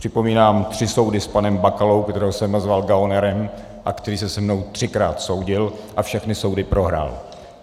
Připomínám tři soudy s panem Bakalou, kterého jsem nazval gaunerem a který se se mnou třikrát soudil a všechny soudy prohrál.